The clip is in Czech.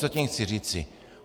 Co tím chci říci?